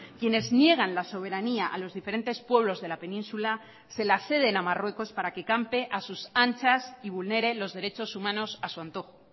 quienes niegan la soberanía a los diferentes pueblos de la península se la ceden a marruecos para que campe a sus anchas y vulnere los derechos humanos a su antojo